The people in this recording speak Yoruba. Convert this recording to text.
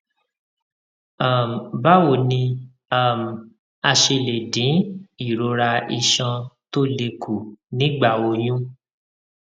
um báwo ni um a ṣe lè dín ìrora iṣan tó le kù nígbà oyún